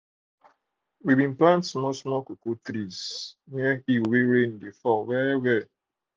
we plant small small cocoa trees near hill wey um rain de um fall well -well